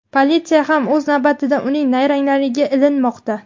Politsiya ham o‘z navbatida uning nayranglariga ilinmoqda.